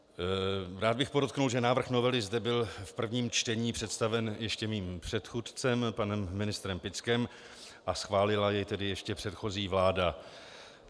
Rád bych podotkl, že návrh novely zde byl v prvním čtení představen ještě mým předchůdcem panem ministrem Pickem a schválila jej tedy ještě předchozí vláda.